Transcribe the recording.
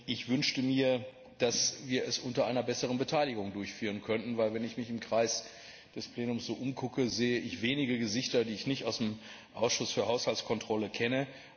Ich wünschte mir, dass wir es unter einer besseren Beteiligung durchführen könnten, denn wenn ich mich im Kreis des Plenums so umschaue, sehe ich wenige Gesichter, die ich nicht aus dem Ausschuss für Haushaltskontrolle kenne.